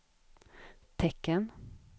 tecken